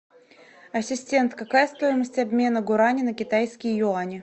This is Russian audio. ассистент какая стоимость обмена гуарани на китайские юани